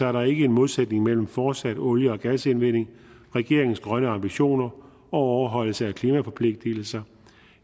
er der ikke en modsætning mellem fortsat olie og gasindvinding regeringens grønne ambitioner og overholdelse af klimaforpligtelser